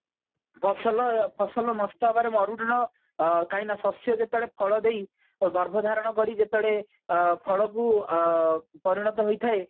ଫସଲ ଫସଲ ନଷ୍ଟ ହେବାର ମରୁଡ଼ିର ଅ କାହିଁକି ନା ଶସ୍ଯ ଯେତେବେଳେ ଫଳ ଦେଇଗର୍ଭ ଧାରଣ କରି ଯେତେବେଳେ ଅ ଫଳକୁ ଅ ପରିଣତ ହୋଇଥାଏ